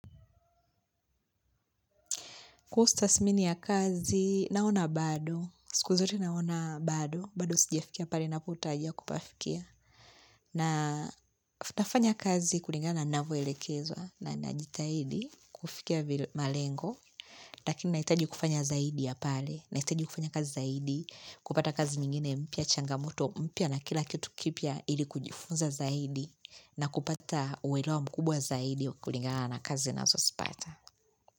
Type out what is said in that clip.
Kwa ustasimini ya kazi, naona bado, siku zote naona bado, bado sijafikia pale napotarajia kupafikia. Na nafanya kazi kulingana na navyoelekezwa na najitahidi, kufikia malengo, lakini nahitaji kufanya zaidi ya pale, nahitaji kufanya kazi zaidi, kupata kazi nyingine mpya changamoto mpya na kila kitu kipya ili kujifunza zaidi, na kupata uelewa mkubwa zaidi kulingana na kazi nazosipata.